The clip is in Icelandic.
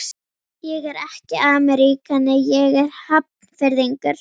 Ég er ekki ameríkani, ég er Hafnfirðingur.